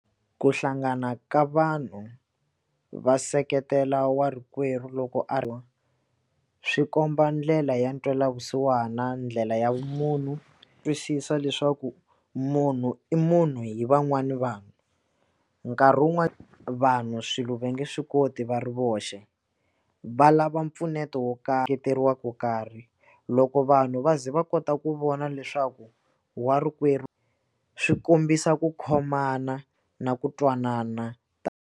Ku hlangana ka vanhu va seketela warikwerhu loko a va swi komba ndlela ya ntwelavusiwana ndlela ya munhu twisisa leswaku munhu i munhu hi van'wana vanhu nkarhi wun'wani vanhu swilo va nge swi koti va ri voxe va lava mpfuneto wo karhi karhi loko vanhu va ze va kota ku vona leswaku warikwerhu swi kombisa ku khomana na ku twanana .